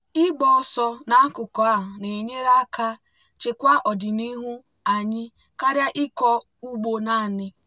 ịgba ọsọ n'akụkụ a na-enyere aka chekwa ọdịnihu anyị karịa ịkọ ugbo naanị.